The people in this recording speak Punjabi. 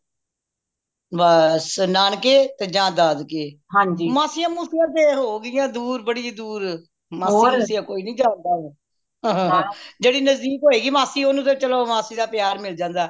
ਬੱਸ ਨਾਨਕੇ ਤੇ ਜਾਂ ਦਾਦਕੇ ਮਾਸੀਆਂ ਮੁਸਿਯਾ ਤੇ ਹੋ ਗਈਆਂ ਦੂਰ ਬੜੀ ਦੂਰ ਮਾਸੀਆਂ ਮੁਸਿਯਾ ਕੋਈ ਨਹੀਂ ਜਾਂਦਾ ਹੁਣ ਜੇਦੀ ਨਜਦੀਕ ਹੋਏ ਗਈ ਮਾਸੀ ਓਹਨੂੰ ਤੇ ਚਲੋ ਮਾਸੀ ਦਾ ਪਿਆਰ ਮਿਲ ਜਾਂਦਾ